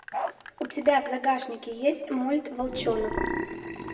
у тебя в загашнике есть мульт волчонок